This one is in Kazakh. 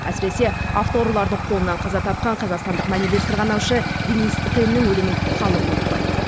әсіресе автоұрылардың қолынан қаза тапқан қазақстандық мәнерлеп сырғанаушы денис теннің өлімін халық ұмытпайды